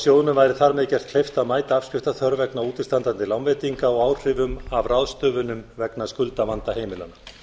sjóðnum væri þar með gert kleift að mæta afskriftaþörf vegna útistandandi lánveitinga og áhrifum af ráðstöfunum vegna skuldavanda heimilanna